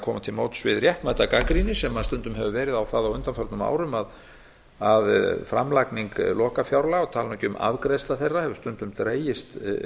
koma til móts við réttmæta gagnrýni sem stundum hefur verið á það á undanförnum árum að framlagning lokafjárlaga ég tala nú ekki um afgreiðslu þeirra hefur stundum dregist